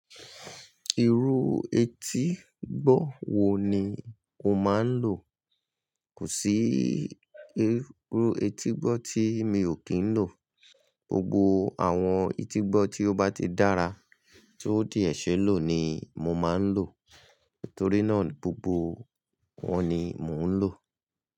Ìrú etígbọ̀ wo ni o máa ń lò? Kò sí ìrú etígbọ̀ tí mi ò kí ń lò. Gbogbo àwọn etígbọ̀ tí ó bá ti dára tí ó de se lò ni mo máa ń lò. Nítorí náà, gbogbo wọn ni mò ń lò.